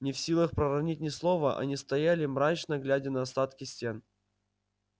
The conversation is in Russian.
не в силах проронить ни слова они стояли мрачно глядя на остатки стен